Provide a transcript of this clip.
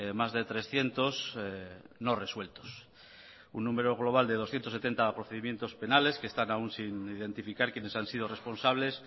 más de trescientos no resueltos un número global de doscientos setenta procedimientos penales que están aún sin identificar quienes han sido responsables